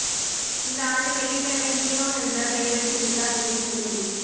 இந்த ஆண்டு வெள்ளிக்கிழமை ஹீரோ என்று பெயரெடுத்துவிட்டார் விஜய் சேதுபதி